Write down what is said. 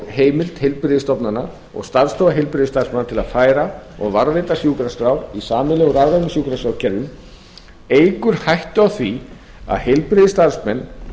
heimild heilbrigðisstofnana og starfsstofa heilbrigðisstarfsmanna til að færa og varðveita sjúkraskrár í sameiginlegu rafrænu sjúkraskrárkerfum eykur hættu á því að heilbrigðisstarfsmenn